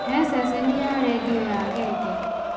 he ceceni ya rĩndiũ ya genge